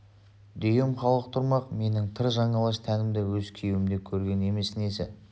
дүйім халық тұрмақ менің тыр жалаңаш тәнімді өз күйеуім де көрген емес несі